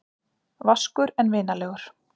Vaskur en vinalegur.